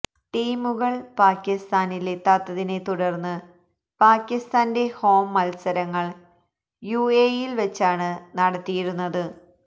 ടീമുകള് പാക്കിസ്ഥാനിലെത്താത്തതിനെ തുടര്ന്ന് പാക്കിസ്ഥാന്റെ ഹോം മത്സരങ്ങള് യുഎഇയില് വെച്ചാണ് നടത്തിയിരുന്നത്